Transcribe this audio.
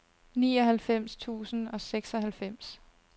nioghalvfems tusind og seksoghalvfems